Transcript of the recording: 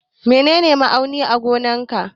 Menene ma'auni na gonan ka?